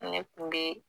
Ne kun be